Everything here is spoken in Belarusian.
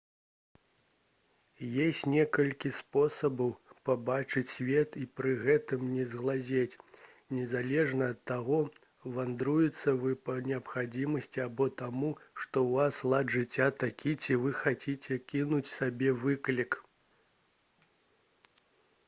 ёсць некалькі спосабаў пабачыць свет і пры гэтым не згалець незалежна ад таго вандруеце вы па неабходнасці або таму што ў вас лад жыцця такі ці вы хочаце кінуць сабе выклік